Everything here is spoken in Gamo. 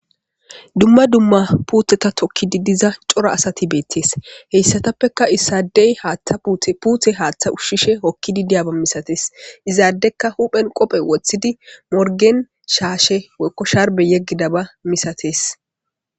Dumma dumma puuteta tokkidi diiza coora asati bettes hessatapeka issadey puute haththa ushshishe hookidi diyyaba massates izzadeykka huphphen qophphe woththidi morggen shaashe woykko shaarbe yeggidaba massates.